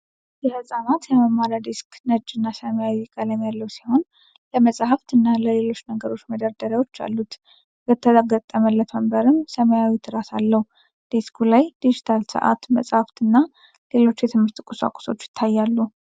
የህጻናት የመማሪያ ዴስክ ነጭ እና ሰማያዊ ቀለም ያለው ሲሆን ለመጻሕፍት እና ለሌሎች ነገሮች መደርደሪያዎች አሉት። የተገጠመለት ወንበርም ሰማያዊ ትራስ አለው። ዴስኩ ላይ ዲጂታል ሰዓት፣ መጻሕፍት እና ሌሎች የትምህርት ቁሳቁሶች ይታያሉ።